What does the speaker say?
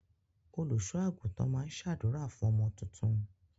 Olùṣọ àgùntàn máa n ṣ'àdúrà fún ọmọ tuntun.